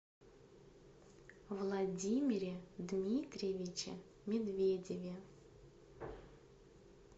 владимире дмитриевиче медведеве